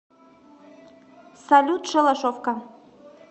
салют шалашовка